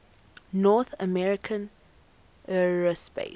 north american aerospace